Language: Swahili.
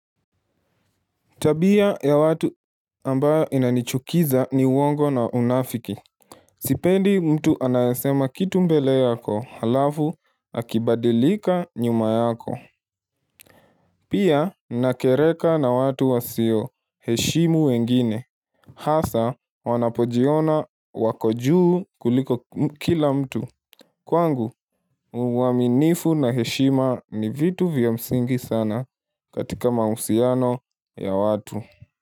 Tabia ya watu ambayo inanichukiza ni uongo na unafiki. Sipendi mtu anayesema kitu mbele yako halafu akibadilika nyuma yako. Pia nakereka na watu wasioheshimu wengine. Hasa wanapojiona wako juu kuliko kila mtu. Kwangu uaminifu na heshima ni vitu vya msingi sana katika mahusiano ya watu.